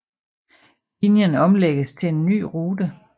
Linjen omlægges til en ny rute